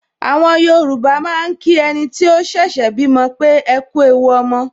Àwọn Yorùbá máa ń kí ẹniti ó ṣẹ̀ṣẹ̀ bímọ pé "ekú ewu ọmọ"